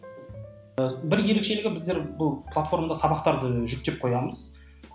бір ерекшелігі біздер бұл платформада сабақтарды жүктеп қоямыз